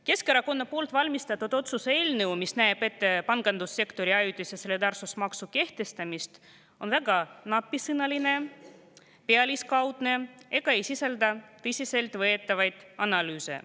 Keskerakonna ettevalmistatud otsuse eelnõu, mis näeb ette pangandussektori ajutise solidaarsusmaksu kehtestamist, on väga napisõnaline ja pealiskaudne ega sisalda tõsiseltvõetavaid analüüse.